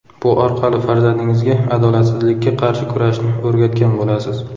Bu orqali farzandingizga adolatsizlikka qarshi kurashni o‘rgatgan bo‘lasiz.